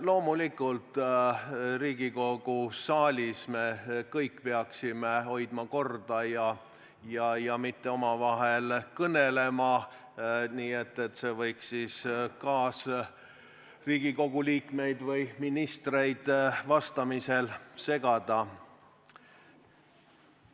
Loomulikult, Riigikogu saalis me kõik peaksime hoidma korda ja mitte omavahel kõnelema, kui see võiks Riigikogu kaasliikmeid või ministreid vastamisel segada.